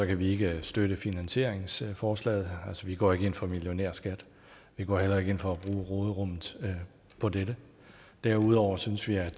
kan vi ikke støtte finansieringsforslaget vi går ikke ind for millionærskat vi går heller ikke ind for at bruge råderummet på dette derudover synes vi at et